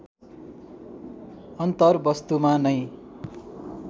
अन्तरवस्तुमा नै